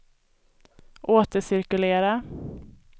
återcirkulera